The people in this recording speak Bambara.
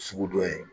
Sugu dɔ ye